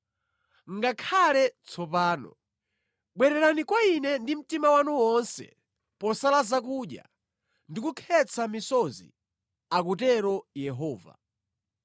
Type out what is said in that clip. “Ngakhale tsopano, bwererani kwa Ine ndi mtima wanu wonse posala zakudya ndi kukhetsa misozi,” akutero Yehova.